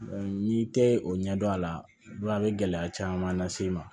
n'i tɛ o ɲɛdɔn a la a bɛ gɛlɛya caman las'i ma